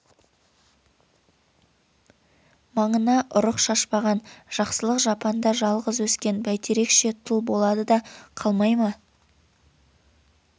маңына ұрық шашпаған жақсылық жапанда жалғыз өскен бәйтерекше тұл болады да қалмай ма